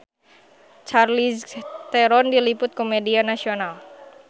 Charlize Theron diliput ku media nasional